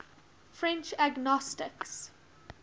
french agnostics